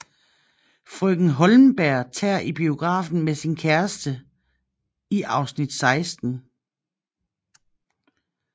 Frøken Hollenberg tager i biografen med sin kæreste i afsnit 16